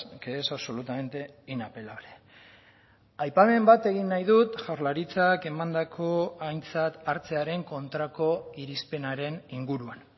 que es absolutamente inapelable aipamen bat egin nahi dut jaurlaritzak emandako aintzat hartzearen kontrako irizpenaren inguruan